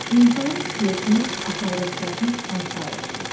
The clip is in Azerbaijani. İnsanın skeletinə aşağıdakılardan hansı aiddir?